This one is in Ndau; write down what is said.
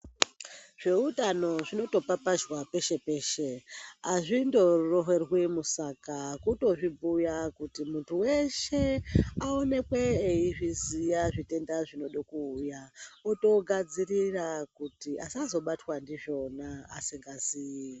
Zveutano zvinotopapazhwa peshe peshe, hazvitoroverwi musaga kutozvibhuya kuti muntu weshe aonekwe eizviziva zvitenda zvinode kuuya otogadzirira kuti asazobatwa ndizvona asingazii.